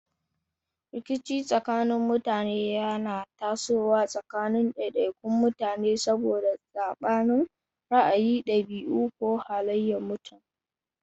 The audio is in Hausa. Rikici tsakanin mutane yana tasowa tsakanin daidaikun mutane saboda sabanin ra'ayi, dabi'u, ko halayen mutum.